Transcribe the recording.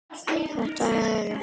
Þetta eru.